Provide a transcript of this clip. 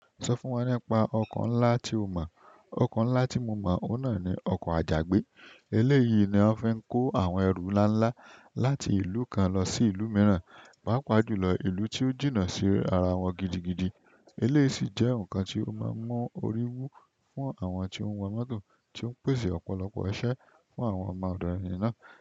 Sọ fún wa nípa ọkọ̀ ńlá tí o mọ̀. Ọkọ̀ ńlá tí mo mọ̀, òun náà ni ọkọ̀ àjàgbé. Eléyìí ni wọ́n fi ń kó àwọn ẹ̀ru ńlá ńlá láti ìlú kan lọ sí ìlú mìíràn, pàápàá jùlọ ìlú tí ó jìnnà sí ara wọn gidigidi. Eléyìí sì jẹ́ ǹkan tí ó máa ń mú orí wú fún àwọn tí wọ́n ń wa mọ́tò tí ó ń pèsè ọ̀pọ̀lọpọ̀ iṣẹ́ fún àwọn ọmọ òdo òní náà.